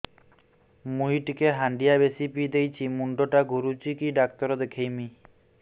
ମୁଇ ଟିକେ ହାଣ୍ଡିଆ ବେଶି ପିଇ ଦେଇଛି ମୁଣ୍ଡ ଟା ଘୁରୁଚି କି ଡାକ୍ତର ଦେଖେଇମି